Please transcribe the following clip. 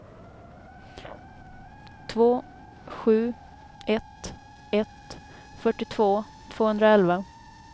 två sju ett ett fyrtiotvå tvåhundraelva